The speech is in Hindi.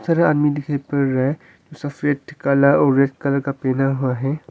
सारा आदमी दिखाई पड़ रहा है सफेद काला और रेड कलर का पहना हुआ है।